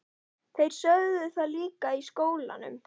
Þeir sögðu það líka í skólanum.